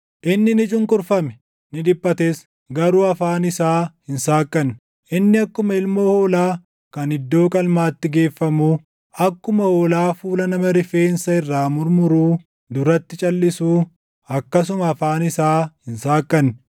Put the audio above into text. Inni ni cunqurfame; ni dhiphates; garuu afaan isaa hin saaqqanne; inni akkuma ilmoo hoolaa kan iddoo qalmaatti geeffamuu, akkuma hoolaa fuula nama rifeensa irraa murmuruu duratti calʼisuu, akkasuma afaan isaa hin saaqqanne.